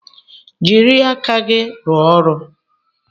Jiri aka gị rụọ ọrụ!